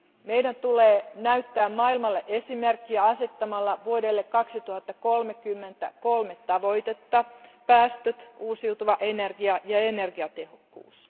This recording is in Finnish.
Meidän tulee näyttää maailmalle esimerkkiä asettamalla vuodelle 2030 kolme tavoitetta päästöt, uusiutuva energia ja energiatehokkuus.